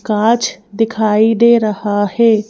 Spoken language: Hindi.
कांचदिखाई दे रहा है।